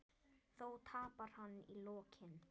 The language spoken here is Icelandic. Þó tapar hann í lokin.